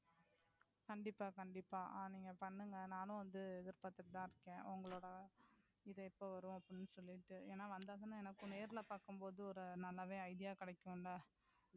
கண்டிப்பா கண்டிப்பா ஆஹ் நீங்க பண்ணுங்க நானும் வந்து எதிர் பார்த்திட்டு இருக்கேன். உங்களோட இது எப்போ வரும்னு அப்படினு சொல்லிட்டு. ஏன்னா வந்தா தானே எனக்கும் நேரில பாக்கும் போது நல்லாவே ஒரு idea கிடைக்குமில்லை.